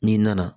N'i nana